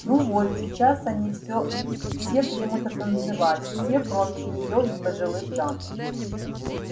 ну вот сейчас они всё все примутся танцевать все кроме неё и пожилых дам